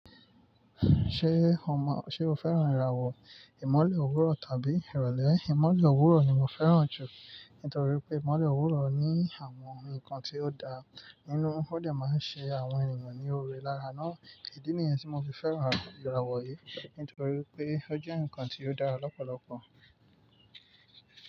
Ṣé o mọ--Ṣé o fẹ́ràn ìràwọ̀ ìmọ́lẹ̀ òwúrọ̀ tàbí ìrọ̀lẹ́? Ìmọ́lẹ̀ òwúrọ̀ ni mo fẹ́ràn jù nítorí pé ìmolẹ̀ òwúrọ̀ ní àwọn ǹkan tí ó dá nínú. Ó dẹ̀ máa ń ṣe àwọn ènìyàn ní oore lára náà. Ìdí nìyẹn tí mo fi fẹ́ràn ìràwọ̀ yìí. Nítorí pé ó jẹ́ ǹkan tí ó dára lọ́pọ̀lọpọ̀